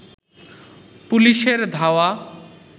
পুলিশের ধাওয়া